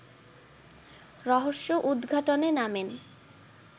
রহস্য-উদঘাটনে নামেন